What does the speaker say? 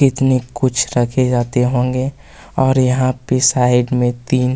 इसमें कुछ रखे जाते होंगे और यहाँ पे साइड में तीन--